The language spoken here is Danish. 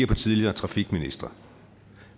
på tidligere trafikministre